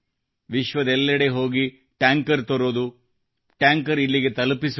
ವಿಶ್ವದೆಲ್ಲೆಡೆ ಹೋಗಿ ಟ್ಯಾಂಕರ್ ತರುವುದು ಟ್ಯಾಂಕರ್ ಇಲ್ಲಿಗೆ ತಲುಪಿಸುವುದು